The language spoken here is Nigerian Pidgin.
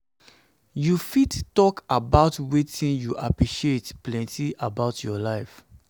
you fit talk fit talk about wetin you appreciate plenty about your life?